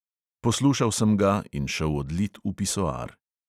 Poslušal sem ga in šel odlit v pisoar.